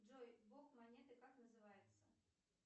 джой бок монеты как называется